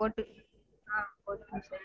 போட்டு ஆஹ் போட்டுக்கனும் sir.